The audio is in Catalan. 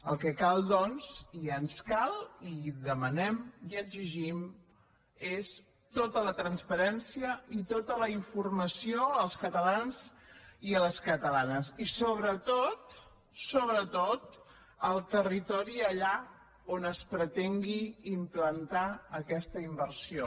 el que cal doncs i ens cal i demanem i exigim és tota la transparència i tota la informació als catalans i a les catalanes i sobretot sobretot al territori allà on es pretengui implantar aquesta inversió